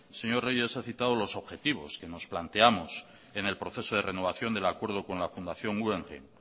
señor reyes he citado los objetivos que nos planteamos en el proceso de renovación del acuerdo con la fundación guggenheim